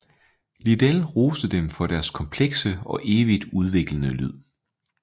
Liddell roste dem for deres komplekse og evigt udviklende lyd